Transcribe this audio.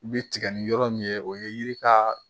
U bɛ tigɛ ni yɔrɔ min ye o ye yiri ka